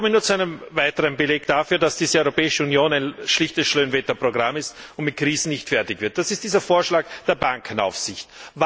Ich komme nun zu einem weiteren Beleg dafür, dass diese Europäische Union ein schlichtes Schönwetterprogramm ist und mit Krisen nicht fertig wird Das ist dieser Vorschlag der Bankenaufsicht.